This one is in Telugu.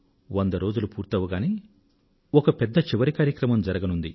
వంద రోజులు పూర్తి కాగానే ఒక పెద్ద చివరి కార్యక్రమం జరగనుంది